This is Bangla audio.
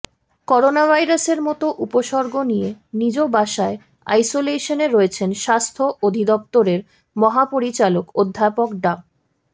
করোনাভাইরাসের মতো উপসর্গ নিয়ে নিজ বাসায় আইসোলেশনে রয়েছেন স্বাস্থ্য অধিদপ্তরের মহাপরিচালক অধ্যাপক ডা